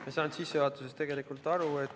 Ma ei saanud sissejuhatusest tegelikult aru.